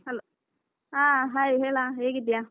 Hello ಹಾ hai ಹೇಳ, ಹೇಗಿದ್ದಿಯಾ?